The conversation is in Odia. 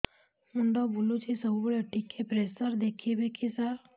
ମୁଣ୍ଡ ବୁଲୁଚି ସବୁବେଳେ ଟିକେ ପ୍ରେସର ଦେଖିବେ କି ସାର